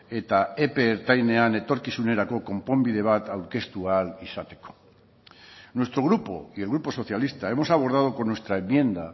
eta epe ertainean etorkizunerako konponbide bat aurkeztu ahal izateko nuestro grupo y el grupo socialista hemos abordado con nuestra enmienda